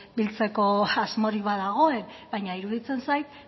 biltzeko asmorik badagoen baina iruditzen zait